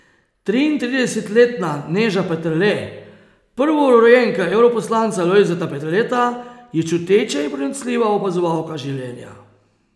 Triintridesetletna Neža Peterle, prvorojenka evroposlanca Lojzeta Peterleta, je čuteča in pronicljiva opazovalka življenja.